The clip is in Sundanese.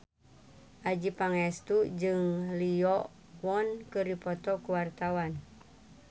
Adjie Pangestu jeung Lee Yo Won keur dipoto ku wartawan